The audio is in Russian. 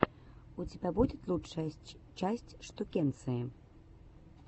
у тебя будет лучшая часть штукенции